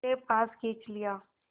उसे पास खींच लिया